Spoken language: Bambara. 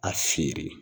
A feere